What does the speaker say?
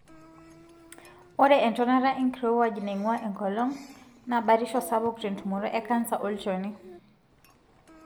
ore entonata enkirowuaj naingua enkolong na batisho sapuk tentumoto ecanser olchoni.